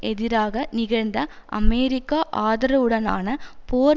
எதிராக நிகழ்ந்த அமெரிக்க ஆதரவுடனான போர்